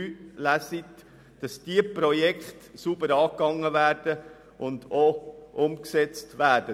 Diese Projekte sollten sauber umgesetzt werden.